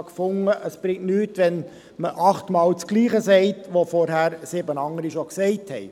Ich bin der Meinung, dass es nichts bringt, wenn man achtmal dasselbe sagt, wie es sieben andere vorher schon gesagt haben.